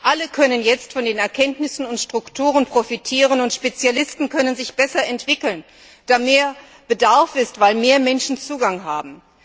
Alle können jetzt von den Erkenntnissen und Strukturen profitieren, und Spezialisten können sich besser entwickeln, da mehr Bedarf besteht, weil mehr Menschen Zugang haben.